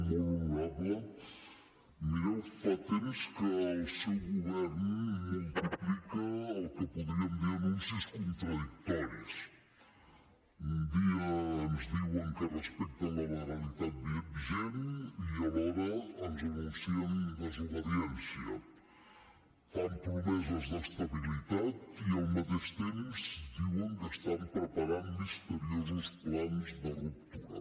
molt honorable mireu fa temps que el seu govern multiplica el que en podríem dir anuncis contradictoris un dia ens diuen que respecten la legalitat vigent i alhora ens anuncien desobediència fan promeses d’estabilitat i al mateix temps diuen que estan preparant misteriosos plans de ruptura